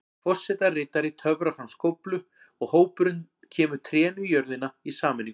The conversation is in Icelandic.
Forsetaritari töfrar fram skóflu og hópurinn kemur trénu í jörðina í sameiningu.